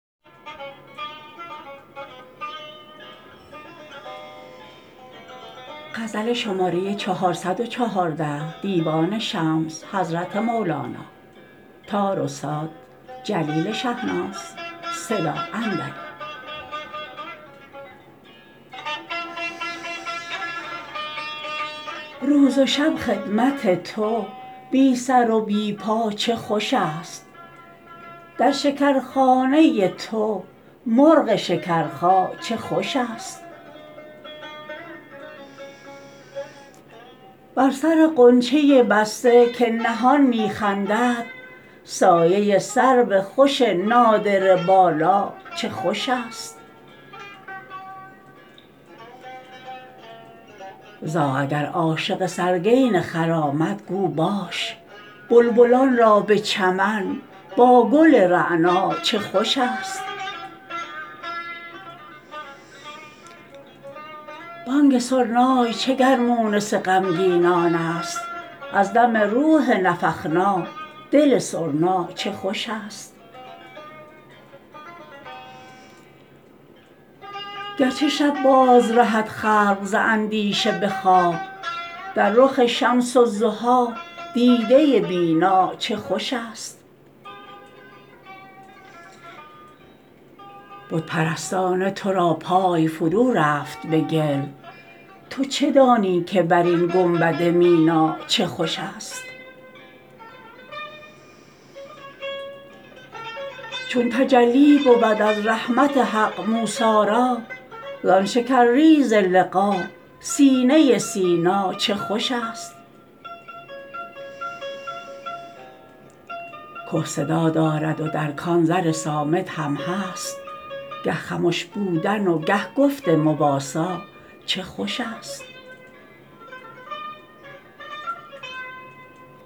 روز و شب خدمت تو بی سر و بی پا چه خوشست در شکرخانه تو مرغ شکرخا چه خوشست بر سر غنچه بسته که نهان می خندد سایه سرو خوش نادره بالا چه خوشست زاغ اگر عاشق سرگین خر آمد گو باش بلبلان را به چمن با گل رعنا چه خوشست بانگ سرنای چه گر مونس غمگینان ست از دم روح نفخنا دل سرنا چه خوشست گرچه شب بازرهد خلق ز اندیشه به خواب در رخ شمس ضحی دیده بینا چه خوشست بت پرستانه تو را پای فرورفت به گل تو چه دانی که بر این گنبد مینا چه خوشست چون تجلی بود از رحمت حق موسی را زان شکرریز لقا سینه سینا چه خوشست که صدا دارد و در کان زر صامت هم هست گه خمش بودن و گه گفت مواسا چه خوشست